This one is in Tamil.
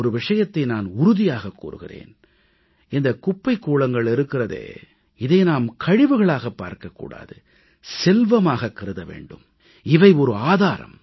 ஒரு விஷயத்தை நான் உறுதியாக கூறுகிறேன் இந்தக் குப்பைக் கூளங்கள் இருக்கிறதே இதை நாம் கழிவுகளாகப் பார்க்கக் கூடாது செல்வமாகக் கருத வேண்டும் இவை ஒரு ஆதாரம்